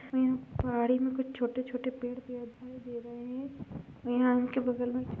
और यहाँ पहाड़ी में कुछ छोटे-छोटे पेड़ दिया दिखाई दे रहे हैं और यहाँ उनके बगल में --